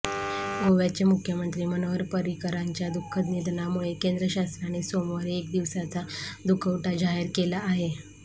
गोव्याचे मुख्यमंत्री मनोहर पर्रिकरांच्या दुःखद निधनामुळे केंद्र शासनाने सोमवारी एक दिवसाचा दुखवटा जाहीर केला आहे